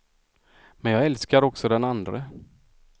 Men jag älskar också den andre.